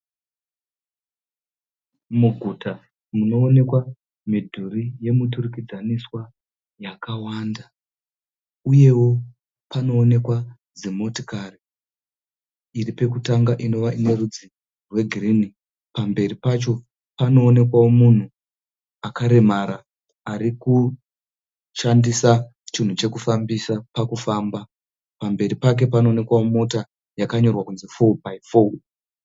Muguta munoonekwa midhuri yemuturikidzanwiswa yakawanda. Uyewo panoonekwa dzimotikari. Iri pekutanga inova ine rudzi rwegirini. Pamberi pacho panoonekwawo munhu akaremara arikushandisa chinhu chekufambisa pakufamba. Pamberi pake panoonekwawo mota yakanyorwa kuti '4X4'.